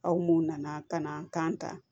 Aw mun nana ka na kan ta